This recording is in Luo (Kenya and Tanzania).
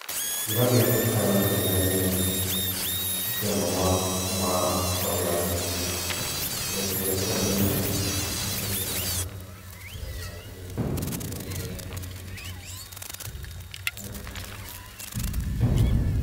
Gima birepacha kaneno gini en ni isiemonwa kuma od yath nitie. Pile pile kwadhi ng'ieo yath twadhiga e od yath miluongo gi dho ngere ni Pharmacy. Mane kuma gini.